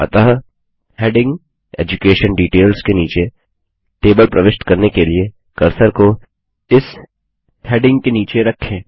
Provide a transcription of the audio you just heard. अतः heading education details के नीचे टेबल प्रविष्ट करने के लिए कर्सर को एस हैडिंग के नीचे रखें